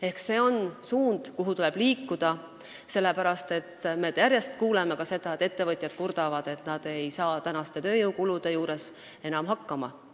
Ehk selles suunas tuleb liikuda, sest me järjest kuuleme ka ettevõtjate kurtmist, et nad ei saa praeguste tööjõukulude tõttu enam hakkama.